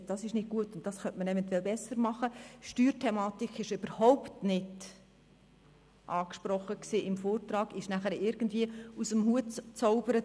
Wir sagten: «Das ist nicht gut und das könnte man eventuell verbessern.» Die Steuerthematik wurde im Vortrag überhaupt nicht angesprochen, wurde danach aber irgendwie aus dem Hut gezaubert.